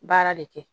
Baara de kɛ